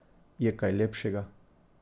Je kaj lepšega?